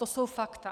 To jsou fakta.